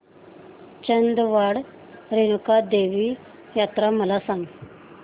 चांदवड रेणुका देवी यात्रा मला सांग